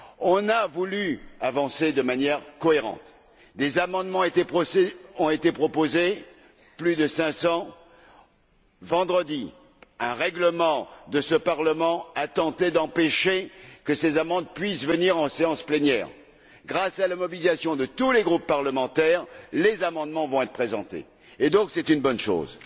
On a voulu avancer de manière cohérente, des amendements ont été proposés plus de 500. Vendredi, avec un règlement de ce Parlement, on a tenté d'empêcher que ces amendements puissent aboutir en séance plénière. Grâce à la mobilisation de tous les groupes parlementaires, les amendements vont être présentés. Ce qui est une bonne chose.